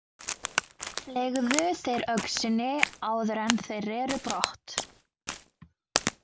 Fleygðu þeir öxinni áður en þeir reru brott.